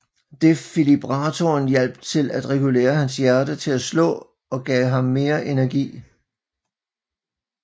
Defibrillatoren hjalp til regulere hans hjerte til at slå og gav ham mere energi